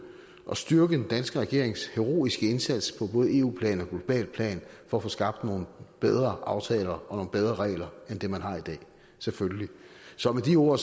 og styrke den danske regerings heroiske indsats på både eu plan og globalt plan for at få skabt nogle bedre aftaler og nogle bedre regler end det man har i dag selvfølgelig så med de ord